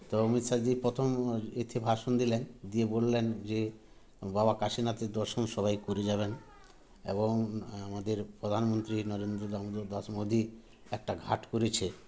তো অমিত শাহজি প্রথম এতে ভাষন দিলেন দিয়ে বললেন যে বাবা কাশীনাথের দর্শন সবাই করে যাবেন এবং আমাদের প্রধানমন্ত্রী নরেন্দ্র দামোদর দাস মোদী একটা ঘাট করেছে